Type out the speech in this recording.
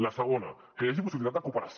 la segona que hi hagi possibilitat de cooperació